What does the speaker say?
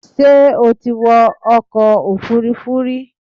Ṣé o ti wọ ọkọ̀ Òfurufú rí